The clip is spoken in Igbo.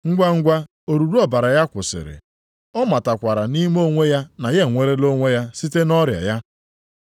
Ngwangwa oruru ọbara ya kwụsịrị. Ọ matakwara nʼime onwe ya na ya enwerela onwe ya site nʼọrịa ya.